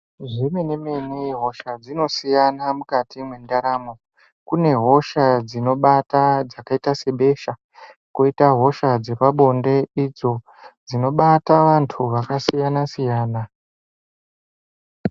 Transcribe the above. Zvemene mene hosha dzinosiyana mukati mwendaramo. Kunehosha dzinobata dzakaita sebesha, koita hosha dzepabonde idzo dzinobata antu akasiyana siyana